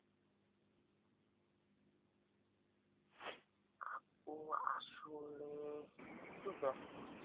আপু আসলে একটু ব্যস্ত।